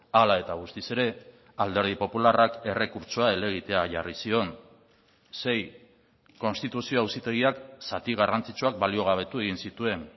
hala eta guztiz ere alderdi popularrak errekurtsoa helegitea jarri zion sei konstituzio auzitegiak zati garrantzitsuak baliogabetu egin zituen